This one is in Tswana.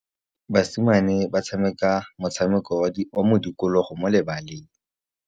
Basimane ba tshameka motshameko wa modikologô mo lebaleng.